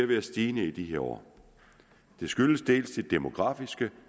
være stigende i de her år det skyldes ikke bare de demografiske